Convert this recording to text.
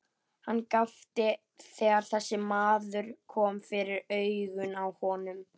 Hann gapti þegar þessi maður kom fyrir augun á honum.